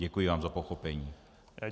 Děkuji vám za pochopení.